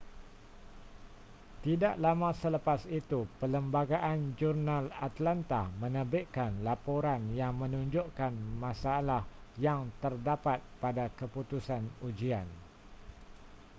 tidak lama selepas itu perlembagaan-jurnal atlanta menerbitkan laporan yang menunjukkan masalah yang terdapat pada keputusan ujian